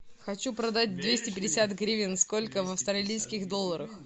хочу продать двести пятьдесят гривен сколько в австралийских долларах